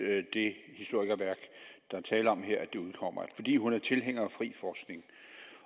at det historikerværk der er tale om her udkommer fordi hun er tilhænger af den frie forskning